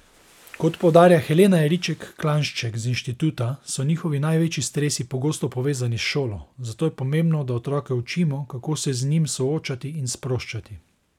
Kot poudarja Helena Jeriček Klanšček z inštituta, so njihovi največji stresi pogosto povezani s šolo, zato je pomembno, da otroke učimo, kako se z njim soočati in sproščati.